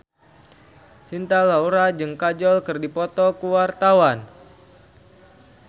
Cinta Laura jeung Kajol keur dipoto ku wartawan